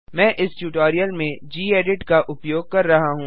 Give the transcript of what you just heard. मैं इस ट्यूटोरियल में गेडिट का उपयोग कर रहा हूँ